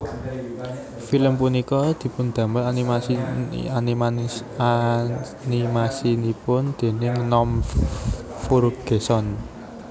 Film punika dipundamel animasinipun déning Norm Furgeson